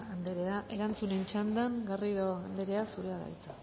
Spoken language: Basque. andrea erantzunen txandan garrido andrea zurea da hitza